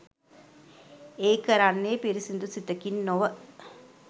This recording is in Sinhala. ඒ කරන්නේ පිරිසිදු සිතකින් නොව